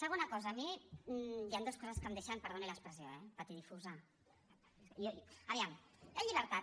segona cosa a mi hi han dues coses que em deixen perdoni l’expressió eh patidifusabertat